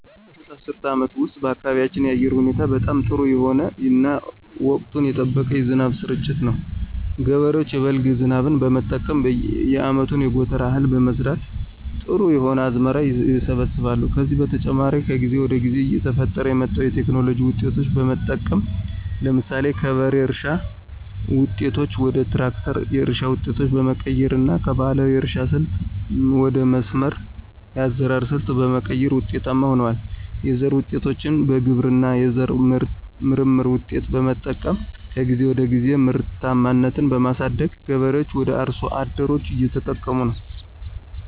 ባለፉት አስርት አመታት ውስጥ በአካባቢያችን የአየር ሁኔታዎች በጣም ጥሩ የሆነ እና ወቅቱን የጠበቀ የዝናብ ስርጭት ነው። ገበሬዎች የበልግ ዝናብ በመጠቀም የአመቱን የጎተራ እህል በመዝራት ጥሩ የሆነ አዝመራ ይሰበስባሉ። ከዚህ በተጨማሪ ከጊዜ ወደ ጊዜ እየተፈጠረ የመጣዉን የቴክኖሎጂ ዉጤቶች በመጠቀም ለምሳሌ ከበሬ እርሻ ዉጤቶች ወደ ትራክተር የእርሻ ዉጤቶች በመቀየር እና ከባህላዊ የእርሻ ስልት ወደ መስመር የአዘራር ሰልት በመቀየር ውጤታማ ሁነዋል። የዘር ዉጤቶችን በግብርና የዘር ምርምር ውጤቶች በመጠቀም ከጊዜ ወደ ጊዜ ምርታማነትን በማሳደግ ገበሬዎች ወይም አርሶ አደሮች እየተጠቀሙ ነው።